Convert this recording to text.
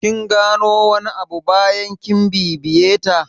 Kin gano wani abu bayan kin bibiye ta?